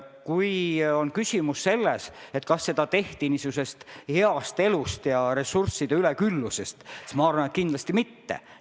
Kui on küsimus selles, kas seda tehti niisugusest heast elust ja ressursside üleküllusest, siis ma arvan, et kindlasti mitte.